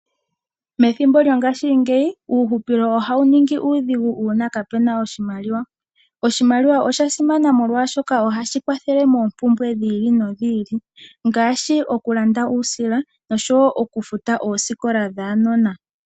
Methimbo lyongashingeyi uuhupilo ohawu ningi uudhigu uuna kapu na oshimaliwa. Oshimaliwa osha simana, molwashoka ohashi kwathele moompumbwe dhi ili nodhi ili ngaashi okulanda uusila osho wo okufuta oosikola dhuunona.